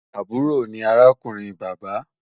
Àbúrò ni arákùnrin bàbá